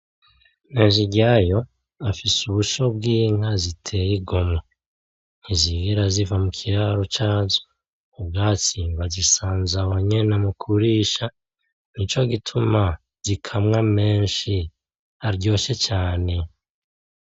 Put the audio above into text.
Nteziryayo afise ubusho bw’inka ziteye igomwe, ntizigera ziva mu kiraro cazo, ubwatsi bazisanze aho nyene mu kurisha, nico gituma zikamwa menshi aryoshe cane.